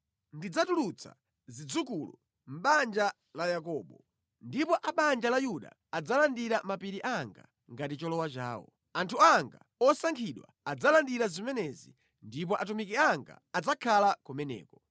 Ndidzatulutsa zidzukulu mʼbanja la Yakobo, ndipo a banja la Yuda adzalandira mapiri anga ngati cholowa chawo. Anthu anga osankhidwa adzalandira zimenezi, ndipo atumiki anga adzakhala kumeneko.